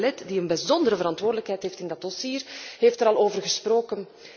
En collega Belet, die een bijzondere verantwoordelijkheid heeft in dat dossier, heeft er al over gesproken.